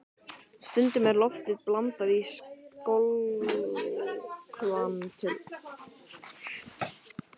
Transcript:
Stundum er lofti blandað í skolvökvann til að létta hann.